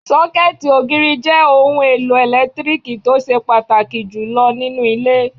Sọ́kẹ̀tì ògiri jẹ́ ohun èlò ẹlẹtíríkì tó ṣe pàtàkì jù lọ nínú ilé